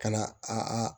Ka na a